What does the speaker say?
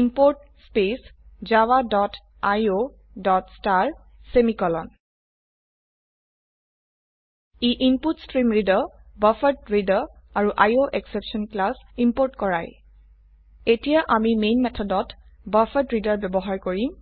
import space Java dot IO dot star semicolon ই input stream reader buffered reader আৰু IO exception class import কৰায় এতিয়া আমি মেন মেথডত বাফাৰেড্ৰেডাৰ ব্যবহাৰ কৰিম